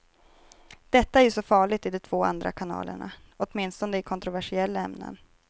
Detta är ju så farligt i de två andra kanalerna, åtminstone i kontroversiella ämnen.